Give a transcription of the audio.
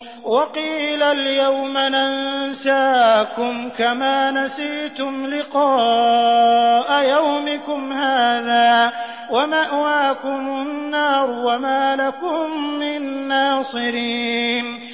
وَقِيلَ الْيَوْمَ نَنسَاكُمْ كَمَا نَسِيتُمْ لِقَاءَ يَوْمِكُمْ هَٰذَا وَمَأْوَاكُمُ النَّارُ وَمَا لَكُم مِّن نَّاصِرِينَ